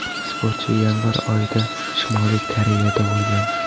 Sportchi yanvar oyida Shimoliy Koreyada bo‘lgan.